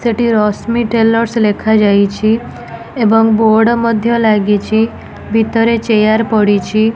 ସେଠି ରଶ୍ମି ଟ୍ରେଲର ସ ଲେଖାଯାଇଛି ଏବଂ ବୋର୍ଡ଼ ମଧ୍ୟ ଲାଗିଛି ଭିତରେ ଚେୟାର ପଡ଼ିଛି।